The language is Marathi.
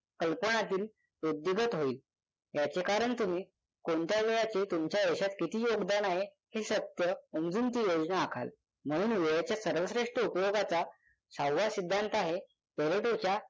कल्पनातील वृद्धिंगत होईल याच्या कारण तुम्ही कोणत्या वेळाचे तुमच्या आयुष्यात किती योगदान आहे हे सत्य उमजून ती योजना आखाल. म्हणून वेळेचे सर्वश्रेष्ठ उपयोगाचा सहावा सिद्धांत आहे पॅरेटोचा